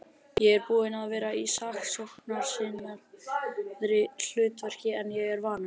Ég er búinn að vera í sóknarsinnaðra hlutverki en ég er vanur.